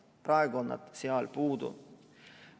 Praegu on need sealt puudu.